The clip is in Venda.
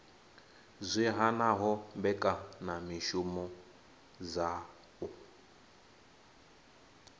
zwi hanaho mbekanyamishumo dza u